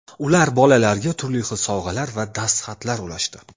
Ular bolalarga turli xil sovg‘alar va dastxatlar ulashdi.